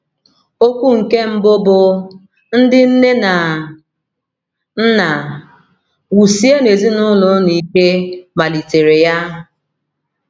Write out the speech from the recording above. Okwu nke mbụ bụ́, “ Ndị Nne na Nna, Wusienụ Ezinụlọ Unu Ike ” malitere ya.